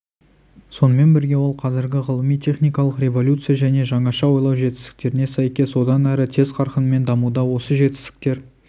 сонымен бірге ол қазіргі ғылыми-техникалық революция және жаңаша ойлау жетістіктеріне сәйкес одан әрі тез қарқынмен дамуда осы жетістіктер